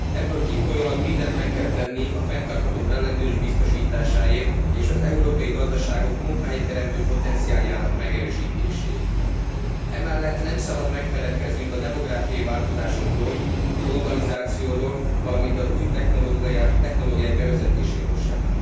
Ebből kifolyólag mindent meg kell tenni a fenntartható fellendülés biztosításáért és az európai gazdaságok munkahelyteremtő potenciáljának megerősítéséért. Emellett nem szabad megfeledkeznünk a demográfiai változásokról, a globalizációról, valamint az új technológiák bevezetéséről sem.